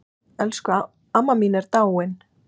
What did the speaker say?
Elsku amma mín er dáin.